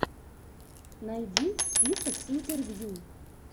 найди список интервью